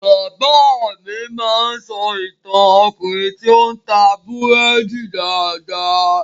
Bàbá mi a máa sọ ìtàn Ọkùnrin tí o n ta búrédì dáadáa.